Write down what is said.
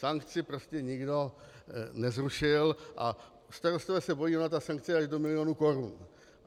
Sankci prostě nikdo nezrušil a starostové se bojí, ona ta sankce je až do milionu korun.